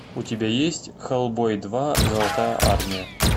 у тебя есть хеллбой два золотая армия